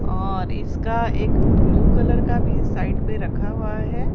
और इसका एक ब्लू कलर का भी साइड पे रखा हुआ है।